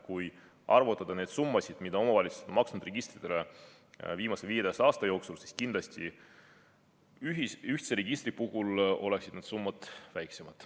Kui arvutada kokku need summad, mida omavalitsused on maksnud registrite eest viimase 15 aasta jooksul, siis ühtse registri puhul oleksid need summad kindlasti väiksemad.